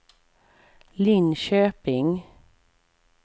Linköping